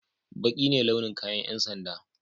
Baƙi ne launin kayan yan sanda.